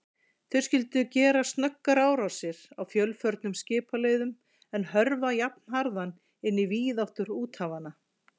Þau skyldu gera snöggar árásir á fjölförnum skipaleiðum, en hörfa jafnharðan inn á víðáttur úthafanna.